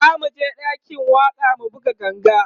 zamuje ɗakin waƙa mu buga ganga